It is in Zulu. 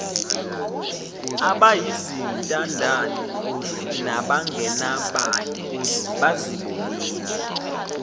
abayizintandane nabangenabani bazibone